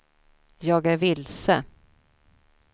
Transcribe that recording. jag är vilse